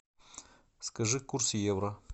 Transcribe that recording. скажи курс евро